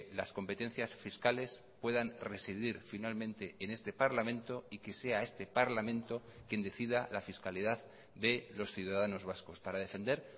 las competencias fiscales puedan residir finalmente en este parlamento y que sea este parlamento quien decida la fiscalidad de los ciudadanos vascos para defender